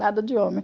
Nada de homem.